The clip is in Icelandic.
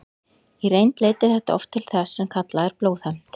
Í reynd leiddi þetta oft til þess sem kallað er blóðhefnd.